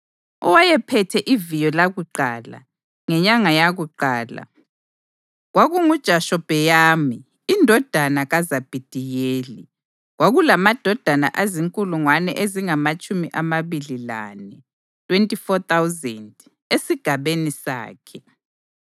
Owayephethe iviyo lakuqala, ngenyanga yakuqala, kwakunguJashobheyamu indodana kaZabhidiyeli. Kwakulamadoda azinkulungwane ezingamatshumi amabili lane (24,000) esigabeni sakhe.